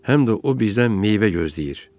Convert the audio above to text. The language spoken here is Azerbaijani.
Həm də o bizdən meyvə gözləyir.